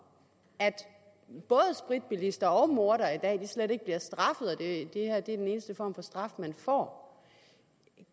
både spritbilister og mordere slet ikke bliver straffet i det her er den eneste form for straf de får